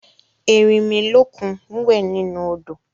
Erinmilókun wẹ̀ nínú odò